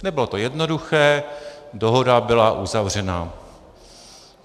Nebylo to jednoduché, dohoda byla uzavřena.